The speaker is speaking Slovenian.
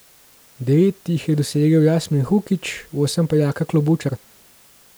Devet jih je dosegel Jasmih Hukić, osem pa Jaka Klobučar.